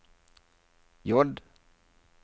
J